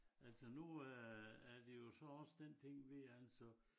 Altså nu er er det ji så også den ting ved altså